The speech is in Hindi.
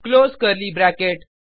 close curly bracket